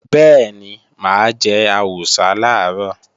Bẹ́ẹ̀ni, mà á jẹ àwùsá làárọ̀